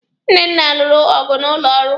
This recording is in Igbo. Nnenna lụrụ ọgụ n'ụlọ ọrụ.